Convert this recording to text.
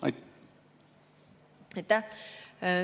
Aitäh!